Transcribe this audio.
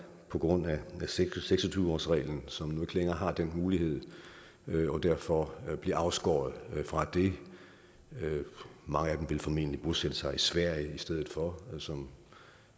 på grund af seks og tyve årsreglen og som nu ikke længere har den mulighed og derfor bliver afskåret fra det mange af dem vil formentlig bosætte sig i sverige i stedet for som